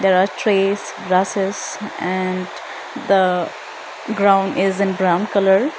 there are trees grasses and the ground is in brown colour.